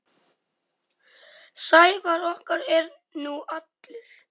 Sævar okkar er nú allur.